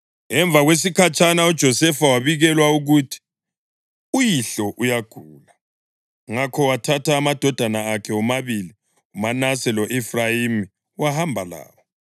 Emva kwesikhatshana uJosefa wabikelwa ukuthi, “Uyihlo uyagula.” Ngakho wathatha amadodana akhe womabili, uManase lo-Efrayimi wahamba lawo.